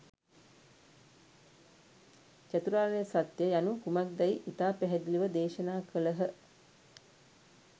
චතුරාර්ය සත්‍යය යනු කුමක්දැයි ඉතා පැහැදිලිව දේශනා කළහ.